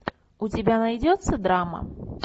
у тебя найдется драма